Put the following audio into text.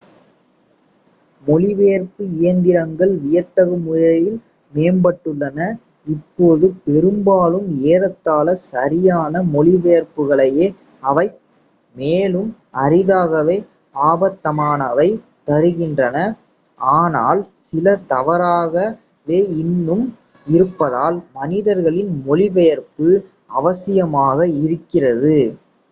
மொழிபெயர்ப்பு இயந்திரங்கள் வியத்தகு முறையில் மேம்பட்டுள்ளன இப்போது பெரும்பாலும் ஏறத்தாழ சரியான மொழிபெயர்ப்புகளையே அவைத் மேலும் அரிதாகவே அபத்தமானவை தருகின்றன ஆனால் சில தவறாகவே இன்னும் இருப்பதால் மனிதர்களின் மொழிபெயர்ப்பு அவசியாமாக இருக்கிறது